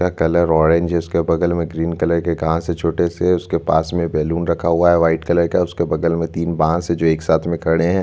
Orange colour है उसके बगल में ग्रीन कलर के छोटे से उसके पास में बैलून रखा हुआ है व्हाइट कलर का है उसके बगल में तीन बांस है जो एक साथ में खड़े है।